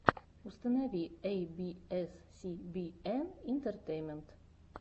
установи эй би эс си би эн интертеймент